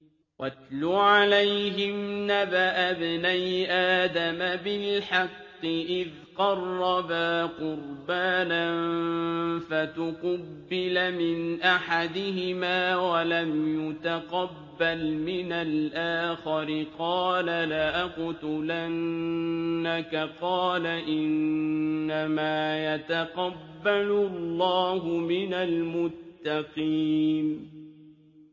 ۞ وَاتْلُ عَلَيْهِمْ نَبَأَ ابْنَيْ آدَمَ بِالْحَقِّ إِذْ قَرَّبَا قُرْبَانًا فَتُقُبِّلَ مِنْ أَحَدِهِمَا وَلَمْ يُتَقَبَّلْ مِنَ الْآخَرِ قَالَ لَأَقْتُلَنَّكَ ۖ قَالَ إِنَّمَا يَتَقَبَّلُ اللَّهُ مِنَ الْمُتَّقِينَ